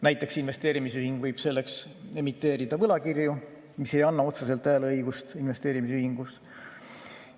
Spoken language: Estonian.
Näiteks võib investeerimisühing selleks emiteerida võlakirju, mis ei anna otseselt hääleõigust investeerimisühingus.